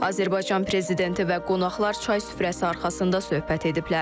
Azərbaycan Prezidenti və qonaqlar çay süfrəsi arxasında söhbət ediblər.